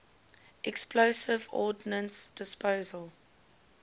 explosive ordnance disposal